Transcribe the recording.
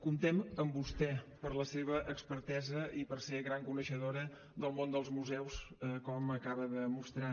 comptem amb vostè per la seva expertesa i per ser gran coneixedora del món dels museus com acaba de demostrar